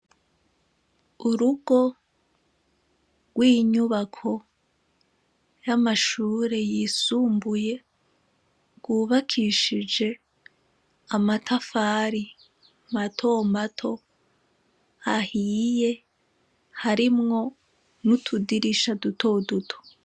Urugo rw'inyubako y'amashure y'amashure yisumbuye, rwubakishije amatafari matomato ahiye, harimwo n'utudirisha dutoduto.